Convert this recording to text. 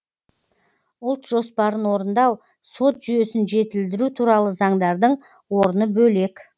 ұлт жоспарын орындау сот жүйесін жетілдіру туралы заңдардың орны бөлек